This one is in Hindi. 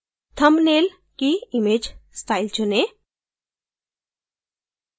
thumbnail की image style चुनें